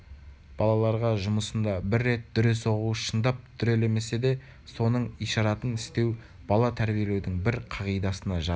балаларға жұмасында бір рет дүре соғу шындап дүрелемесе де соның ишаратын істеу бала тәрбиелеудің бір қағидасына жатады